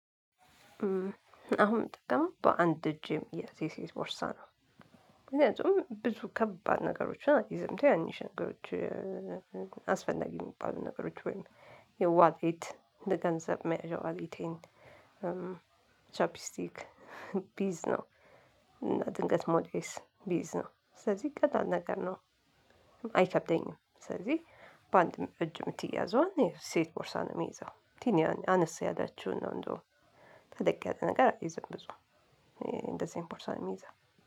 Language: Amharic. አሁን እምጠቀመው በአንድ እጅ የሚያዝ የሴት ቦርሳ ነው። ምክንያቱም ብዙ ከባድ ነገሮችን አልይዝም ትናንሽ ነገሮችን አስፈላጊ የሚባሉ ነገሮች ወይም የዋሌት ለገንዘብ መያዣ ዋሌቴን ቻፕስቲክ ብይዝ ነው። እና ድንገት ሞዴስ ብይዝ ነው ስለዚህ ቀላል ነገር ነው። አይከብደኝም ስለዚህ በአንድ እጅ የምትያዘዋን የሴት ቦርሳ ነው የምይዘው። አነስ ያላችውን ነው እንደውም ተለቅ ያለ ነገር አልይዝም ብዙም እንደዚህ አይነት ቦርሳ ነው የምይዘው።